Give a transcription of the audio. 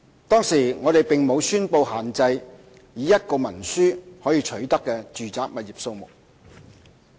當時我們並無宣布限制以一份文書可取得的住宅物業數目。